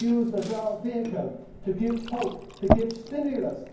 as our vehicle to give hope, to give stimulus.